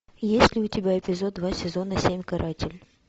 есть ли у тебя эпизод два сезона семь каратель